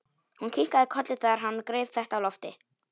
Hún kinkaði kolli þegar hann greip þetta á lofti.